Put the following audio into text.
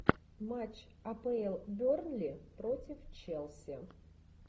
матч апл бернли против челси